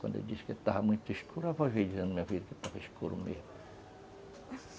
Quando eu disse que estava muito escuro, arrojei, dizendo, minha filha, que estava escuro mesmo.